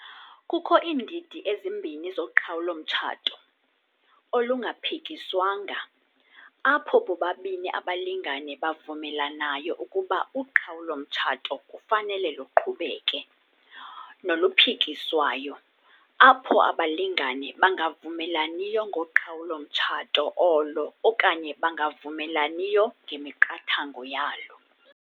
Kukho iindidi ezimbini zoqhawulo-mtshato- olungaphikiswanga - apho bobabini abalingane bavumelanayo ukuba uqhawulo-mtshato kufanele luqhubeke, noluphikiswayo - apho abalingane bangavumelaniyo ngoqhawulo-mtshato olo okanye bangavumelaniyo ngemiqathango yalo.